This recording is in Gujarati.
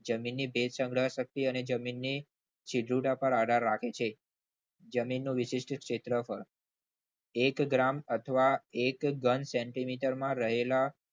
જમીનની ભેજ સંગ્રહ શક્તિ અને જમીનની છિદ્ર રૂઢતા પર આધાર રાખે છે જમીનનું વિશેષ ક્ષેત્રફળ એક ગ્રામ અથવા એક centimeter માં રહેલા